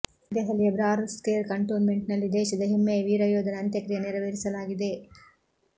ದೆಹಲಿಯ ಬ್ರಾರ್ ಸ್ಕೇರ್ ಕಂಟೋನ್ಮೆಂಟ್ನಲ್ಲಿ ದೇಶದ ಹೆಮ್ಮೆಯ ವೀರಯೋಧನ ಅಂತ್ಯಕ್ರಿಯೆ ನೆರವೇರಿಸಲಾಗಿದೆ